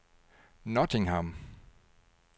Nottingham